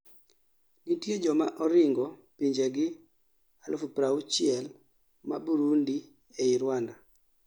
nitie joma oringo pinjegi 60,000 ma Burundi ei Rwanda